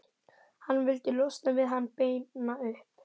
Hann vildi losna við hann, beina upp